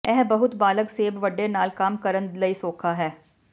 ਇਹ ਬਹੁਤ ਬਾਲਗ ਸੇਬ ਵੱਡੇ ਨਾਲ ਕੰਮ ਕਰਨ ਲਈ ਸੌਖਾ ਹੈ